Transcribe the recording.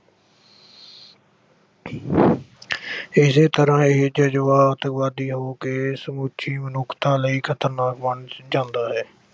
ਇਸੇ ਤਰ੍ਹਾਂ ਹੀ ਜਜ਼ਬਾਤ ਅੱਤਵਾਦੀ ਹੋ ਕੇ ਸਮੁੱਚੀ ਮਨੁੱਖਤਾ ਲਈ ਖਤਰਨਾਕ ਬਣ ਅਹ ਜਾਂਦਾ ਹੈ।